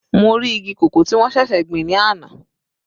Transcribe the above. Mo rí igi cocoa tí wọ́n ṣẹ̀ṣẹ̀ gbìn ní àná.